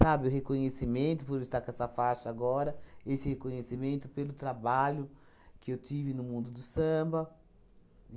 o reconhecimento por estar com essa faixa agora, esse reconhecimento pelo trabalho que eu tive no mundo do samba.